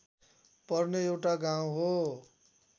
पर्ने एउटा गाउँ हो